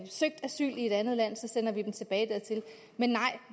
søgt asyl i et andet land sender vi dem tilbage dertil men nej